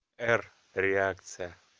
р реакция